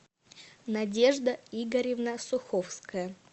надежда игоревна суховская